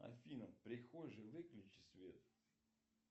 афина в прихожей выключи свет